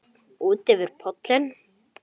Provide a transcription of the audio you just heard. Ekki einu sinni Lat.